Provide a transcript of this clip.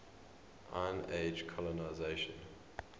iron age colonisation